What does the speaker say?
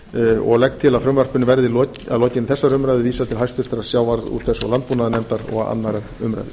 frumvarpinu og legg til að frumvarpinu verði að lokinni þessar umræðu vísað til háttvirtrar sjávarútvegs og landbúnaðarnefndar og annarrar umræðu